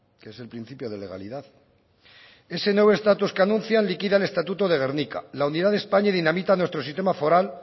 que es el principio de legalidad ese nuevo status que anuncia liquida el estatuto de gernika la unidad de españa dinamita nuestro sistema foral